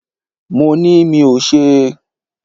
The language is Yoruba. Mo ni mí ò ṣe.